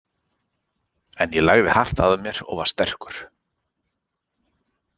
En ég lagði hart að mér og var sterkur.